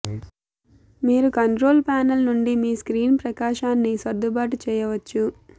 మీరు control panel నుండి మీ స్క్రీన్ ప్రకాశాన్ని సర్దుబాటు చేయవచ్చు